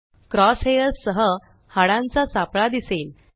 cross hairs सह हाडांचा सापळा दिसेल